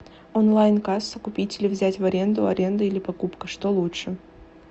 онлайн касса купить или взять в аренду аренда или покупка что лучше